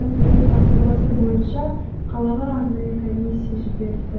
әкімнің тапсырмасы бойынша қалаға арнайы комиссия жіберілді